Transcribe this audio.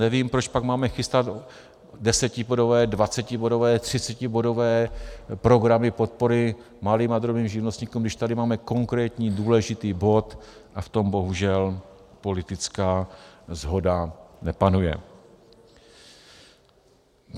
Nevím, proč pak máme chystat desetibodové, dvacetibodové, třicetibodové programy podpory malým a drobným živnostníkům, když tady máme konkrétní důležitý bod a v tom bohužel politická shoda nepanuje.